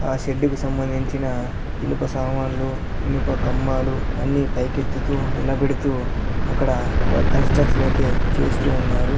ఆ షెడ్డు కు సంబంధించిన ఇనుప సామాన్లు ఇనుప కంబాలు అన్ని పైకెత్తుతూ నిలబెడుతూ అక్కడ వ కన్స్ట్రక్షన్ అయితే చేస్తూ ఉన్నారు.